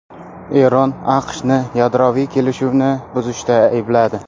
Eron AQShni yadroviy kelishuvni buzishda aybladi.